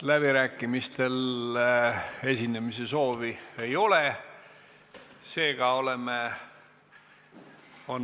Läbirääkimistel esinemise soovi ei ole.